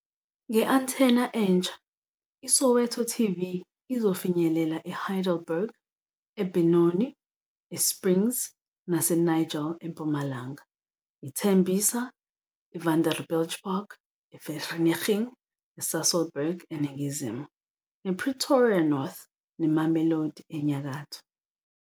Nge-antenna entsha, iSoweto TV izofinyelela eHeidelberg, eBenoni, eSprings naseNigel empumalanga, ITembisa, iVanderbijlpark, iVereeniging neSasolburg eningizimu, nePretoria North neMamelodi enyakatho.